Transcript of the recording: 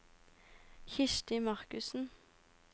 Kirsti Markussen